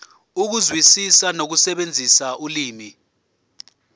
ukuzwisisa nokusebenzisa ulimi